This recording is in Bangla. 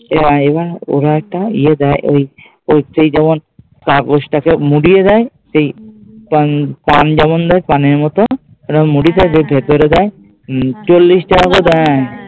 তো even ওরা তো ইয়ে দেয় ঐ কাগজটা কে মুরিয়ে দেয় সেই টান যেমন দেয়, টানের মতো মুরিয়ে দেয়